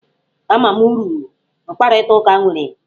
Ama m uru mkparịta ụka nwere.